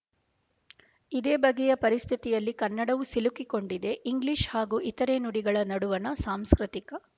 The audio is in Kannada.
ಇದೇ ಬಗೆಯ ಪರಿಸ್ಥಿತಿಯಲ್ಲಿ ಕನ್ನಡವು ಸಿಲುಕಿಕೊಂಡಿದೆ ಇಂಗ್ಲೀಷ್ ಹಾಗೂ ಇತರೆ ನುಡಿಗಳ ನಡುವಣ ಸಾಂಸ್ಕೃತಿಕ